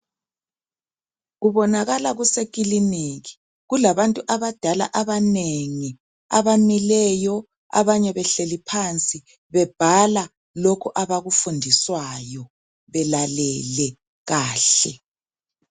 Kubonakala kusekiliniki kulabantu abadala abanengi abamileyo abanye behleli phansi bebhala lokhu abakufundiswayo belalele kahle.